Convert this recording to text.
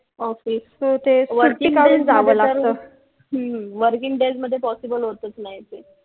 working days मध्ये possible होतच नाही ते